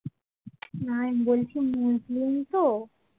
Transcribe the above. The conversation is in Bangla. না আমি বলছি মুসলিম তো